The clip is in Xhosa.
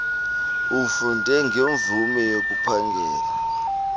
ufunde ngemvume yokuphangela